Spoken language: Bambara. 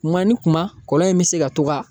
Kuma ni kuma , kɔlɔlɔ in bɛ se ka to ka